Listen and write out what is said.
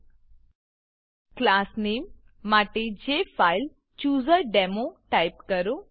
class નામે class name માટે J file chooser demo type કરો